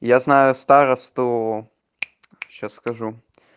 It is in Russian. я знаю старосту сейчас скажу